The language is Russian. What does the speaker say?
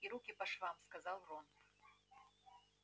и руки по швам сказал рон